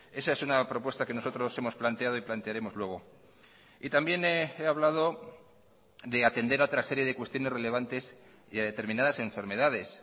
esa es una propuesta que nosotros hemos planteado y plantearemos luego y también he hablado de atender a otra serie de cuestiones relevantes y a determinadas enfermedades